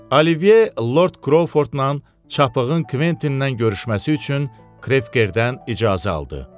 Olivye Lord Krovfordla Çapığın Kventindən görüşməsi üçün Krekerdən icazə aldı.